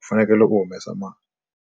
u fanekele u humesa mali.